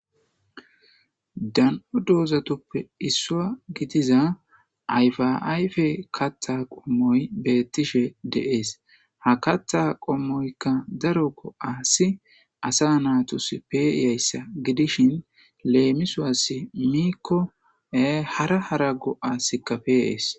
Dan'o doozatoppe issua gidiza ayfaayfe katta qommoy beettishe deees ha katta qommoykka daro go7aasi asa naatos peiyayssa gidishin leemisuwasi miikkoe hara hara go'asikka peeees.